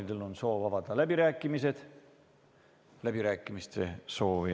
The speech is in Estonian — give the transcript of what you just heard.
Head kolleegid, sellega on tänane päevakord läbitud ja istung lõppenud.